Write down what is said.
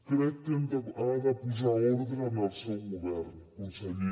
crec que ha de posar ordre en el seu govern conseller